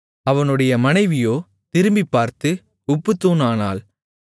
அவனுடைய மனைவியோ திரும்பிப்பார்த்து உப்புத்தூண் ஆனாள்